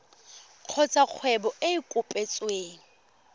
kgotsa kgwebo e e kopetsweng